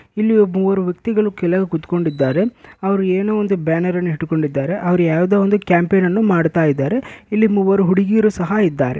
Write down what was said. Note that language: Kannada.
ಇಲ್ಲಿ ಒಬ್ ಮೂವರು ವ್ಯಕ್ತಿಗಳು ಕೆಳಗೆ ಕುತ್ಕೊಂಡಿದ್ದಾರೆ. ಅವರು ಏನೋ ಒಂದು ಬ್ಯಾನರ್ ಅನ್ನು ಇಟ್ಕೊಂಡಿದ್ದಾರೆ ಅವ್ರು ಯಾವ್ದೋ ಒಂದು ಕ್ಯಾಂಪಿಯನ್ ಅನ್ನು ಮಾಡ್ತಾ ಇದ್ದಾರೆ ಇಲ್ಲಿ ಮೂವರು ಹುಡ್ಗಿಯರು ಸಹ ಇದ್ದಾರೆ.